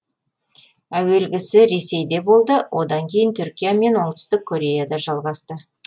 әуелгісі ресейде болды одан кейін түркия мен оңтүстік кореяда жалғасты